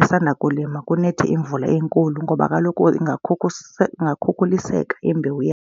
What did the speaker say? esanda kulima kunethe imvula enkulu ngoba kaloku ingakhukhuliseka imbewu .